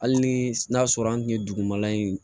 Hali ni n'a sɔrɔ an tun ye dugumala in